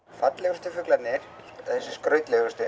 fallegustu fuglarnir þessir